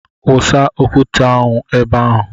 Wụsa okwute (nkume) ahụ ebe ahụ!